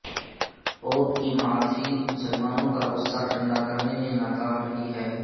pope کی معافی مسلمانوں کا غصہ ٹھنڈا کرنے میں ناکام رہی ہے